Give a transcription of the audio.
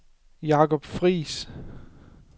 Jakob Friis